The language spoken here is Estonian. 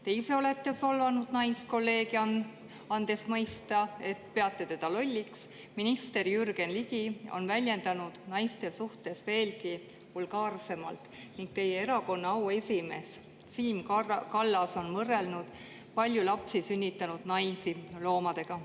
Te ise olete solvanud naiskolleegi, andes mõista, et peate teda lolliks, minister Jürgen Ligi on väljendanud end naiste suhtes veelgi vulgaarsemalt ning teie erakonna auesimees Siim Kallas on võrrelnud palju lapsi sünnitanud naisi loomadega.